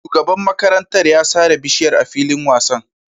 Shugaban makarantar ya sare bishiyar a filin wasan